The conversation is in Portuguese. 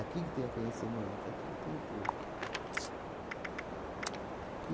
que tem o conhecimento, aqui que tem tudo.